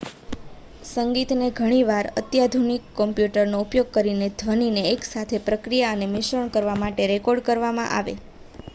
સંગીતને ઘણી વાર અત્યાધુનિક કમ્પ્યુટરનો ઉપયોગ કરીને ધ્વનિને એક સાથે પ્રક્રિયા અને મિશ્રણ કરવા માટે રેકોર્ડ કરવામાં આવે